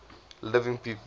living people